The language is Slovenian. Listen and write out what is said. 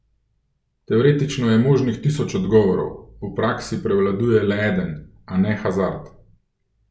Teoretično je možnih tisoč odgovorov, v praksi prevladuje le eden, a ne Hazard.